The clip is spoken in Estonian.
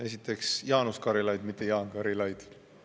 Esiteks, Jaanus Karilaid, mitte Jaan Karilaid.